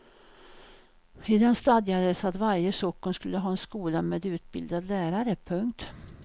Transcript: I den stadgades att varje socken skulle ha en skola med utbildad lärare. punkt